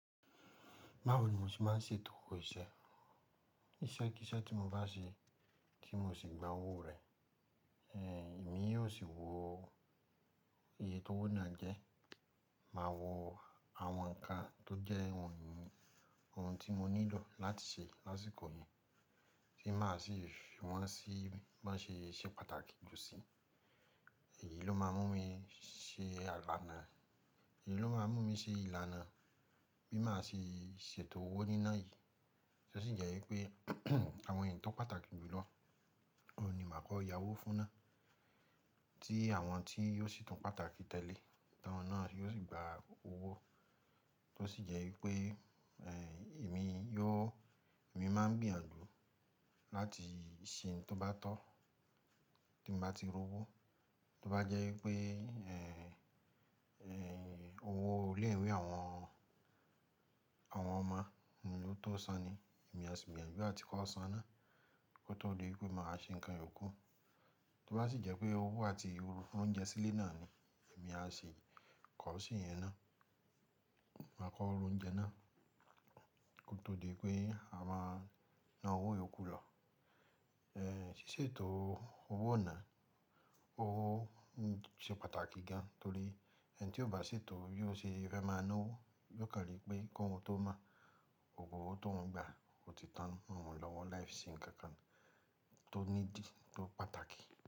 Báwo ni mo ṣe máa ń ṣètò owó iṣẹ́? Iṣẹ́ kí iṣẹ́ tí mo bá ṣe tí mo sì gba owó rẹ̀, èmi yóò sì wọ iye tó wóná jẹ́, máa wo àwọn ǹkan tó jẹ́ ohun tí mo nílò láti ṣe lásìkò yìí, tí màá sì fùwọ́n sí bí wọ́n ṣe ṣe pàtàkì jù sí i. Èyin ló máa mú mi ṣe. Èyí ló máa mú mi ṣe ìlànà bí màá ṣe ṣètò owó níná yìí. Tó sì jẹ́ wípé àwọn èyí tó pàtàkì jù lọ, ohun ni màá kọ́ yá owó fún náà. Tí àwọn tí ò sì tún pàtàkì tẹ́lẹ̀, tàwọn náà ni yóò sì gba owó. Tó sì jẹ́ wípé èmi máa ń gbìyànjú láti ṣe ohun tó bá tọ́ tí n bá ti rí owó. Tó bá jẹ́ wípé owó ilẹ̀ ìwé àwọn ọmọ ni ó tó san ni, èmi á sì gbìyànjú áti kó san náà kó tó di wípé màá ṣe ǹkan yòókù. Tó sì jẹ́ pé owó àti oúnjẹ sílé náà ni, èmi á sì kọ̀ ọ́ se yẹn náà. Màá kọ ra oúnjẹ náà kó tó di pé àma náà ó wóyè kú lọ. Sí ṣètò owó iná, ó ṣe pàtàkì gan-an torí ẹni tí ó bá ṣètò bi ò sì fẹ́ máa ná owó, yóò kàn ní pé kí oun tó mọ́, gbogbo owó tóuń gba ó ti tán mọ oun lọ́wọ́ láì ṣe ǹkan kan tó nídi, tó pàtàkì.